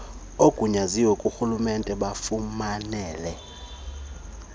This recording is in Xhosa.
oogunyaziwe borhulumente bafumanele